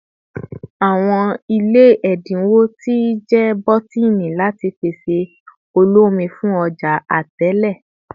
Awọn ile ẹdinwo ti jẹ bọtini lati pese oloomi fun ọja Atẹle